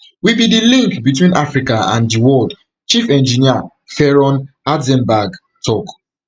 we be di link between africa and di world chief engineer ferron hartzenberg tok